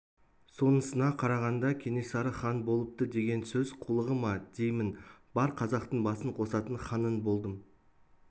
сонысына қарағанда кенесары хан болыпты деген сөз қулығы ма деймін бар қазақтың басын қосатын ханың болдым